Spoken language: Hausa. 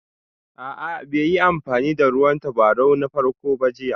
A'a bai yi amfani da ruwan tabarau na farko ba jiya